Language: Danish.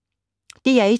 DR1